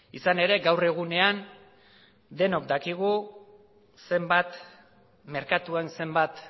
izan ere gaur egunean denok dakigu merkatuan zenbat